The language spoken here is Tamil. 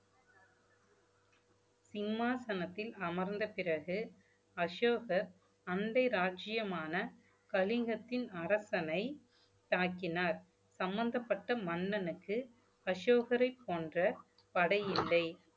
சிம்மாசனத்தில் அமர்ந்த பிறகு அசோகர் அண்டை ராஜ்ஜியமான கலிங்கத்தின் அரசனை தாக்கினார் சம்பந்தப்பட்ட மன்னனுக்கு அசோகரைப் போன்ற படையில்லை